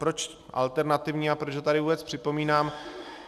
Proč alternativní a proč ho tady vůbec připomínám.